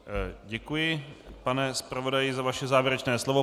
Děkuji, pane zpravodaji, za vaše závěrečné slovo.